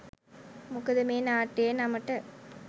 මොකද මේ නාට්‍යයේ නමට